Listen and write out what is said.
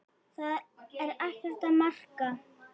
Það er ekkert að marka.